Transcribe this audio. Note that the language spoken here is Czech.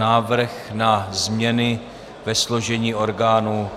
Návrh na změny ve složení orgánů